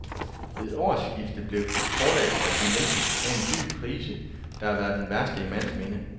Ved årsskiftet blev forlagsbranchen hjemsøgt af en dyb krise, der var den værste i mands minde.